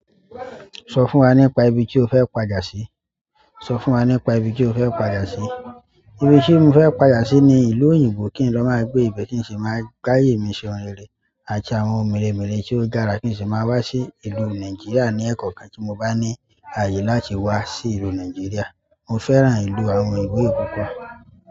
Sọ fún wa nípa ibi tí o fẹ́ pàda sí. Sọ fún wa nípa ibi tí o fẹ́ padà sí. Ibi tí mo fẹ́ padà sí ni ìlú òyìnbó kí n lọ máa gbé ìbẹ kin sì máa gbáyé mi se oun rere àti àwọn oun mèremère tí ó dára kí n sì máa wá sí ìlú Nàìjíríà ní ẹ̀kọ̀kan tí mo bá ní àyè láti wá sí ìlú Nàìjíríà. Mo fẹ́ràn ìlú àwọn oyinbo yìí púpọ̀.